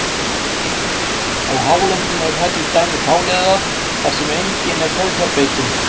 Á hálendinu eru þær til dæmis fáliðaðar þar sem engin er sauðfjárbeitin.